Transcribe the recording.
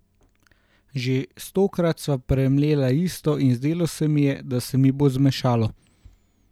Že stokrat sva premlela isto in zdelo se mi je, da se mi bo zmešalo.